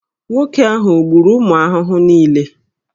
Nwoke ahụ o gburu ụmụ ahụhụ niile?